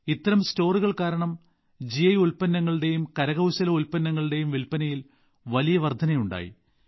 ഇത്തരം സ്റ്റോറുകൾ കാരണം ജിഐ ഉൽപ്പന്നങ്ങളുടെയും കരകൌശല ഉൽപന്നങ്ങളുടെയും വിൽപ്പനയിൽ വലിയ വർധനയുണ്ടായി